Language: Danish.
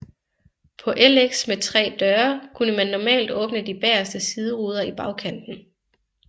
På LX med 3 døre kunne man normalt åbne de bageste sideruder i bagkanten